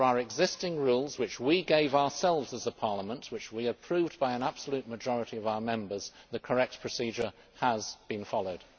Under our existing Rules which we gave ourselves as a Parliament and which we approved by an absolute majority of our Members the correct procedure has been followed.